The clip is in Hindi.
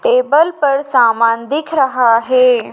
टेबल पर समान दिख रहा हे।